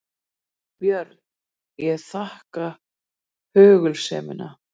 BJÖRN: Ég þakka hugulsemina.